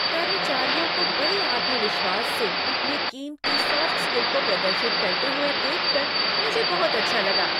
कर्मचारियों को बड़े आत्मविश्वास से अपने कीमती सॉफ्ट स्किल को प्रदर्शित करते हुए देख कर मुझे बहुत अच्छा लगा।